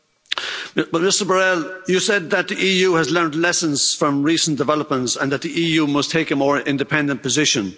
But Mr Borrell, you said that the EU has learned lessons from recent developments and that the EU must take a more independent position.